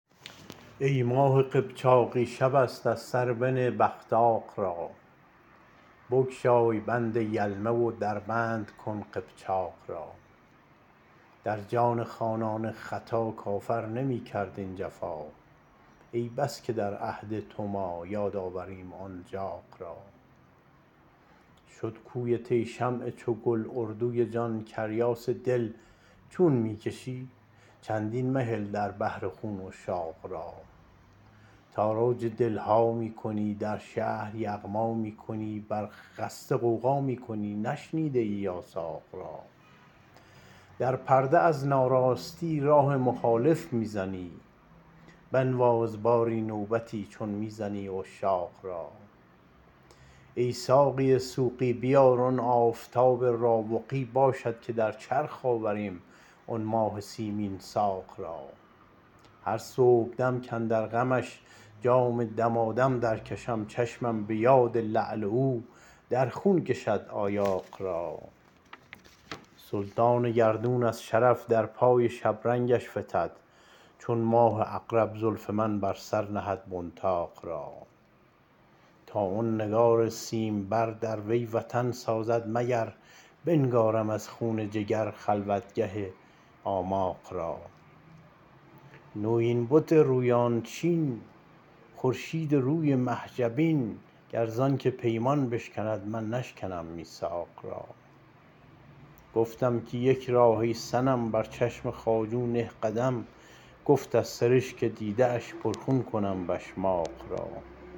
ای ماه قبچاقی شب است از سر بنه بغطاق را بگشای بند یلمه و در بند کن قبچاق را در جان خانان ختا کافر نمی کرد این جفا ای بس که در عهد تو ما یاد آوریم آن جاق را شد کویت ای شمع چگل اردوی جان کریاس دل چون می کشی چندین مهل در بحر خون مشتاق را تاراج دل ها می کنی در شهر یغما می کنی بر خسته غوغا می کنی نشنیده ای یاساق را در پرده از ناراستی راه مخالف می زنی بنواز باری نوبتی چون می زنی عشاق را ای ساقی سوقی بیار آن آفتاب راوقی باشد که در چرخ آوریم آن ماه سیمین ساق را هر صبحدم کاندر غمش جام دمادم درکشم چشمم به یاد لعل او در خون کشد آیاق را سلطان گردون از شرف در پای شبرنگش فتد چون ماه عقرب زلف من بر سر نهد بنطاق را تا آن نگار سیمبر در وی وطن سازد مگر بنگارم از خون جگر خلوتگه آماق را نویین بت رویان چین خورشیدروی مه جبین گر زانک پیمان بشکند من نشکنم میثاق را گفتم که یک راه ای صنم بر چشم خواجو نه قدم گفت از سرشک دیده اش پرخون کنم بشماق را